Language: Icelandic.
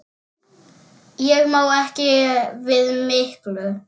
Ég má ekki við miklu.